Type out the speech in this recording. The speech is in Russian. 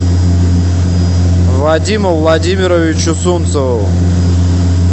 вадиму владимировичу сунцову